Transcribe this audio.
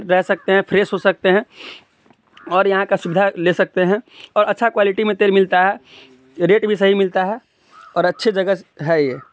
--रह सकते है फ्रेश हो सकते है और यह का सुविधा ले सकते है और अच्छा क्वालिटी मे तेल मिलता है रेट भी सही मिलता है और अच्छी जगह है ये--